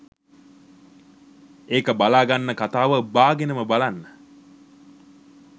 ඒක බලාගන්න කතාව බාගෙනම බලන්න